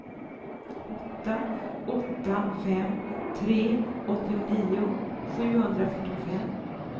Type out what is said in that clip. åtta åtta fem tre åttionio sjuhundrafyrtiofem